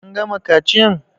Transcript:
An gama kaciyan?